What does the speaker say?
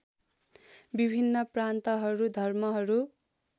विभिन्न प्रान्तहरू धर्महरू